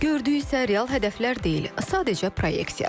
Gördüyü isə real hədəflər deyil, sadəcə proyeksiyadır.